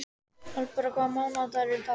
Hallbera, hvaða mánaðardagur er í dag?